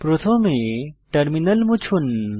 প্রথমে টার্মিনাল মুছুন